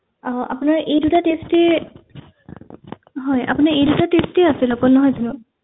আহ আপনাৰ এই দুটা test এ হয় আপনাৰ এই দুটা test এ আছিল অকল নহয় জানো